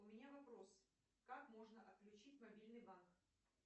у меня вопрос как можно отключить мобильный банк